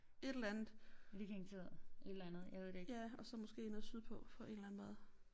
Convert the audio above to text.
Et eller andet ja og så måske nede sydpå på en eller anden måde